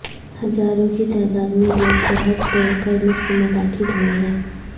ہزاروں کی تعداد میں لوگ سرحد توڑ کر مصر میں داخل ہوئے ہیں